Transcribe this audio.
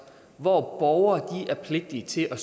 hvor borgere er pligtige til at